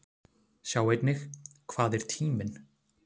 Sjá einnig: Hvað er tíminn?